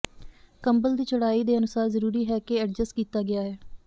ਕੰਬਲ ਦੀ ਚੌੜਾਈ ਦੇ ਅਨੁਸਾਰ ਜ਼ਰੂਰੀ ਹੈ ਕੇ ਐਡਜਸਟ ਕੀਤਾ ਗਿਆ ਹੈ